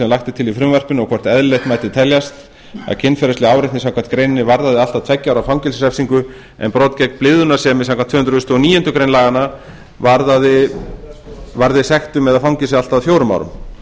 er til í frumvarpinu og hvort eðlilegt mætti teljast að kynferðisleg áreitni samkvæmt greininni varðaði allt að tveggja ára fangelsisrefsingu en brot gegn blygðunarsemi samkvæmt tvö hundruð og níundu grein laganna varðaði sektum eða fangelsi allt að fjórum árum